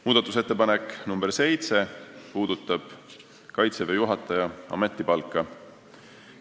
Muudatusettepanek nr 7 puudutab Kaitseväe juhataja ametipalka.